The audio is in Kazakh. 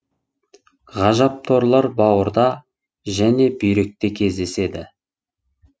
ғажап торлар бауырда және бүйректе кездеседі